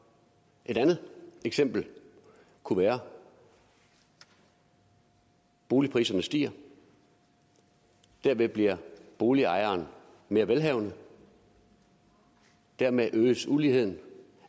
et andet eksempel kunne være at boligpriserne stiger og derved bliver boligejerne mere velhavende og dermed øges uligheden